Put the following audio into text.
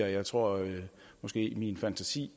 og jeg tror måske at min fantasi